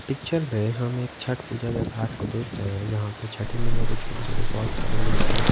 picture में हम एक छट पूजा के घाट को देख रहे हैं जहाँ पे छठी मैया के छोटे-छोटे बहुत सारी मूर्तियाँ--